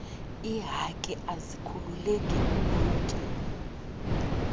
ihaki azikhululeki umlobi